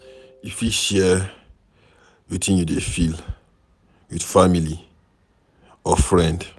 You fit share wetin you dey feel with family or friend